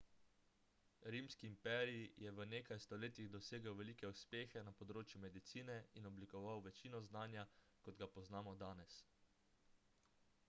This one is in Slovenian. rimski imperij je v nekaj stoletjih dosegel velike uspehe na področju medicine in oblikoval večino znanja kot ga poznamo danes